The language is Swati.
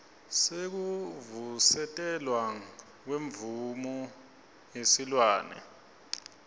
sekuvusetelwa kwemvumo yesilwane